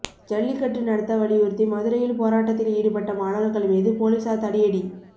ஜல்லிக்கட்டு நடத்த வலியுறுத்தி மதுரையில் போராட்டத்தில் ஈடுபட்ட மாணவர்கள் மீது போலீஸார் தடியடி